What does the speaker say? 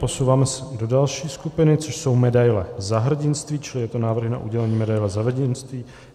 Posouváme se do další skupiny, což jsou medaile Za hrdinství, čili jsou to návrhy na udělení medaile Za hrdinství.